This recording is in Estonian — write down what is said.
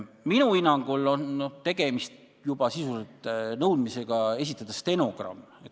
Minu hinnangul on sisuliselt tegemist juba nõudmisega esitada stenogramm.